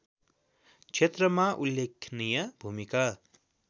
क्षेत्रमा उल्लेखनीय भूमिका